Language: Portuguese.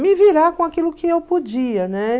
me virar com aquilo que eu podia, né?